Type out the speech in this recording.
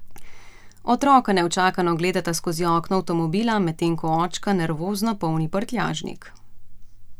Otroka neučakano gledata skozi okno avtomobila, medtem ko očka nervozno polni prtljažnik.